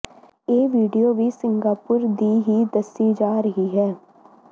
ਇਹ ਵੀਡੀਓ ਵੀ ਸਿੰਗਾਪੁਰ ਦੀ ਹੀ ਦੱਸੀ ਜਾ ਰਹੀ ਹੈ